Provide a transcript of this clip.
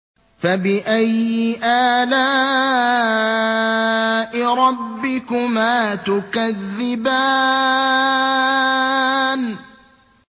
فَبِأَيِّ آلَاءِ رَبِّكُمَا تُكَذِّبَانِ